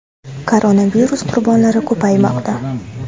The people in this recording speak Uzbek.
Koronavirus qurbonlari ko‘paymoqda.